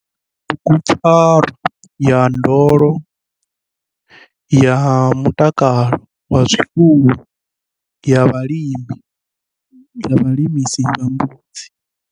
Bugupfarwa ya ndondolo ya mutakalo wa zwifuwo ya vhalisa vha mbudzi.